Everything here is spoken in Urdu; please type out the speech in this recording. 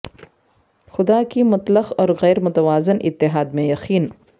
خدا کی مطلق اور غیر متوازن اتحاد میں یقین